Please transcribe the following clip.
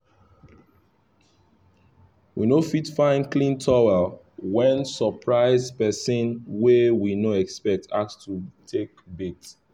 we no fit find clean towel when surprise person wey we no expect ask to take bath